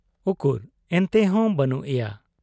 ᱩᱠᱩᱨ ᱮᱱᱛᱮᱦᱚᱸ ᱵᱟᱹᱱᱩᱜ ᱮᱭᱟ ᱾